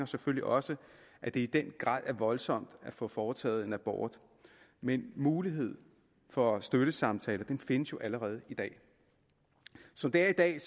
selvfølgelig også at det i den grad er voldsomt at få foretaget en abort men muligheden for støttesamtaler findes jo allerede i dag som det er i dag